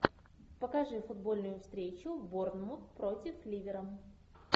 покажи футбольную встречу борнмут против ливера